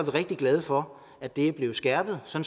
rigtig glade for at det er blevet skærpet så